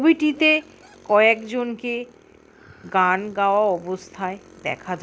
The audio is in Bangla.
উইটিতে কয়েকজনকে গান গাওয়া অবস্থায় দেখা যা--